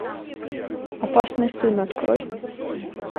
опасный сын открой